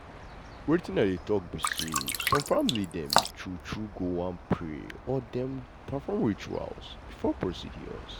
wetin i dey talk be say some family dem true true go wan pray or dem perform ritual before procedures.